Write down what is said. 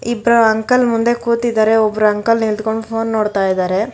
ಇಬ್ಬರು ಅಂಕಲ್ ಮುಂದೆ ಕೂತಿದಾರೆ ಒಬ್ಬರ ಅಂಕಲ್ ನಿಂತ್ಕೊಂಡು ಫೋನ್ ನೋಡ್ತಾ ಇದಾರೆ.